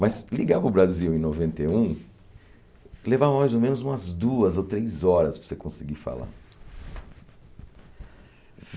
Mas ligar para o Brasil em noventa e um, leva mais ou menos umas duas ou três horas para você conseguir falar.